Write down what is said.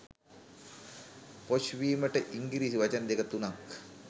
posh වීමට ඉන්ගිරිසි වචන දෙක තුනක්